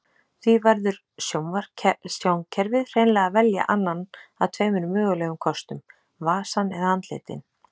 Því verður sjónkerfið hreinlega að velja annan af tveimur mögulegum kostum, vasann eða andlitin.